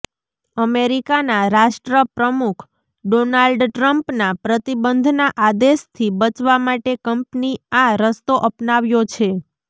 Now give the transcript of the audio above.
અમેરિકાના રાષ્ટ્ર પ્રમુખ ડોનાલ્ડ ટ્રમ્પના પ્રતિબંધના આદેશથી બચવા માટે કંપની આ રસ્તો અપનાવ્યો છે